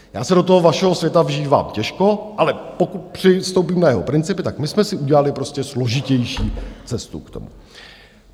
Já se do toho vašeho světa vžívám těžko, ale pokud přistoupím na jeho principy, tak my jsme si udělali prostě složitější cestu k tomu.